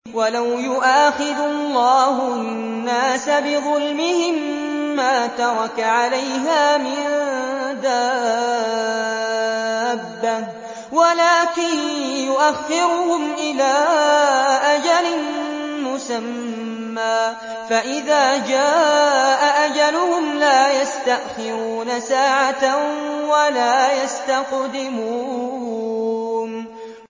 وَلَوْ يُؤَاخِذُ اللَّهُ النَّاسَ بِظُلْمِهِم مَّا تَرَكَ عَلَيْهَا مِن دَابَّةٍ وَلَٰكِن يُؤَخِّرُهُمْ إِلَىٰ أَجَلٍ مُّسَمًّى ۖ فَإِذَا جَاءَ أَجَلُهُمْ لَا يَسْتَأْخِرُونَ سَاعَةً ۖ وَلَا يَسْتَقْدِمُونَ